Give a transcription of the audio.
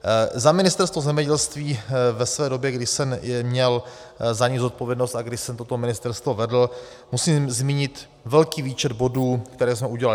Za Ministerstvo zemědělství ve své době, kdy jsem měl za něj zodpovědnost a kdy jsem toto ministerstvo vedl, musím zmínit velký výčet bodů, které jsme udělali.